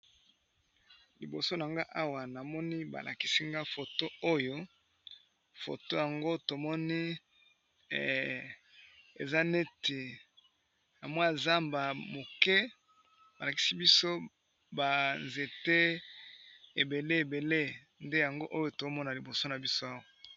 Liboso na nga awa namoni balakisinga foto oyo foto yango tomoni eza neti na mwa a zamba moke balakisi biso banzete ebele ebele nde yango oyo tomona liboso na biso awa.